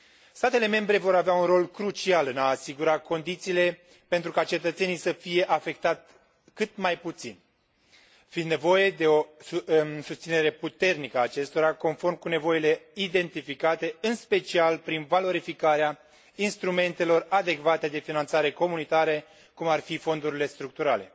Statele membre vor avea un rol crucial în a asigura condițiile pentru ca cetățenii să fie afectați cât mai puțin, fiind nevoie de o susținere puternică a acestora, conform cu nevoile identificate, în special prin valorificarea instrumentelor adecvate de finanțare comunitare, cum ar fi fondurile structurale.